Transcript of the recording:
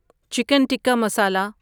chicken tikka مسالا